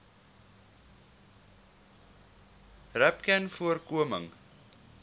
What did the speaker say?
rapcanvoorkoming